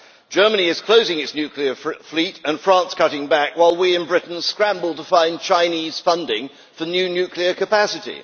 Germany is closing its nuclear fleet and France is cutting back, while we in Britain scramble to find Chinese funding for new nuclear capacity.